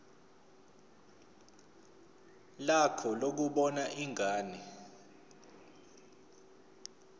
lakho lokubona ingane